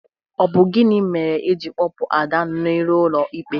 Ọ bụ gini mere iji kpọpụ Ada n'ihu ụlọ ikpe?